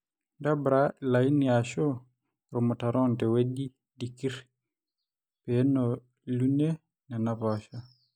ntobirra ilainini aashu irmutarron tewueji dikir peno liunie nena poosho